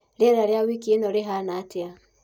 Rĩera rĩa wĩkĩ ĩno rĩhana atĩa